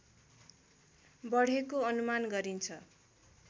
बढेको अनुमान गरिन्छ